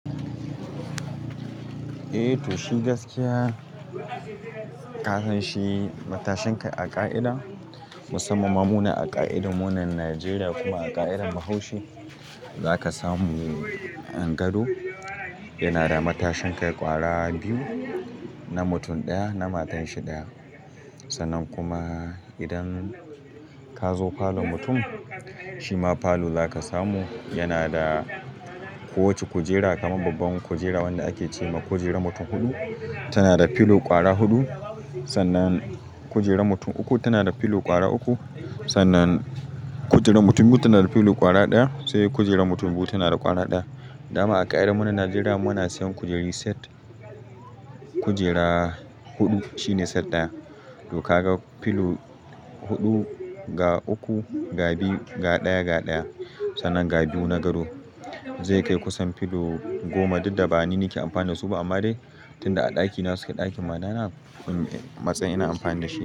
Eh to, shi gaskiya ka san shi matashin kai a ƙa'ida musamman munanan a ƙa'ida, munanan Najeriya kuma a ƙa'idar Bahaushe za ka samu ah gado yana da matashin kai ƙwara biyu, na mutum ɗaya na matanshi ɗaya. Sannan kuma idan ka zo falon mutum, shi ma falo za ka samu yana da kowacce kujera kamar babban kujera wanda ake ce ma kujerar mutum huɗu tana da pillow ƙwara huɗu. Sannan kujerar mutum uku tana da pillow ƙwara uku. Sannan kujerar mutum biyu tana da pillow ƙwara ɗaya sai kujerar mutum biyu tana da ƙwara ɗaya. Da ma a ƙa'idar mu na Najeriya muna sayan kujeru set. Kujera huɗu shine set ɗaya. To ka ga pillow huɗu, ga uku, ga biyu, ga ɗaya, ga ɗaya. Sannan ga biyu na gado zai kai kusan pillow goma duk da ba ni nake amfani da su ba amma dai tunda a ɗakina suke a ɗakin matana matsayin ina amfani da shi.